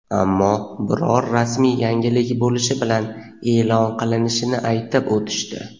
Ammo biror rasmiy yangilik bo‘lishi bilan e’lon qilinishini aytib o‘tishdi.